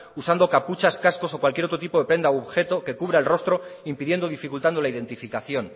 usando capuchas cascos o cualquier otro tipo de prenda u objeto que cubra el rostro impidiendo y dificultando la identificación